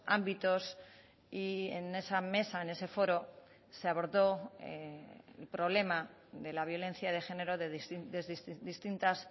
ámbitos y en esa mesa en ese foro se abordó el problema de la violencia de género desde distintas